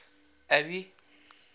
abby